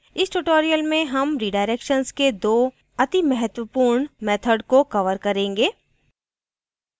इस tutorial में हम redirections के दो अतिमहत्वपूर्ण मेथड को cover करेंगे